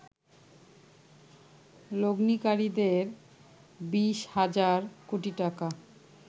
লগ্নিকারীদের ২০ হাজার কোটি টাকা